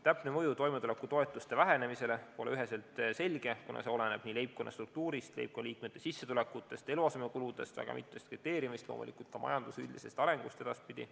Täpne mõju toimetulekutoetuste vähenemisele pole üheselt selge, kuna palju oleneb leibkonna struktuurist, leibkonna liikmete sissetulekutest, eluasemekuludest ja väga mitmest muust kriteeriumist, loomulikult ka majanduse üldisest arengust edaspidi.